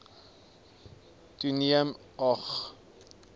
toeneem a g